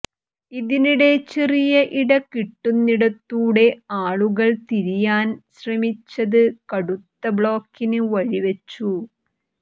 ഇതിനിടെ ചെറിയ ഇട കിട്ടുന്നിടത്തൂടെ ആളുകൾ തിരിയാൻ ശ്രമിച്ചത് കടുത്ത ബ്ലോക്കിന് വഴിവച്ചു